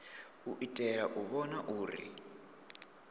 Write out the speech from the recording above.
u itela u vhona uri